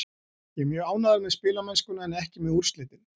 Ég er mjög ánægður með spilamennskuna en ekki með úrslitin.